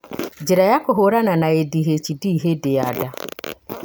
njĩra cia kũhũrana na ADHD hĩndĩ ya nda